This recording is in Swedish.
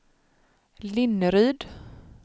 Linneryd